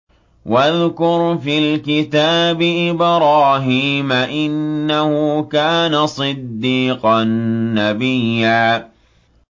وَاذْكُرْ فِي الْكِتَابِ إِبْرَاهِيمَ ۚ إِنَّهُ كَانَ صِدِّيقًا نَّبِيًّا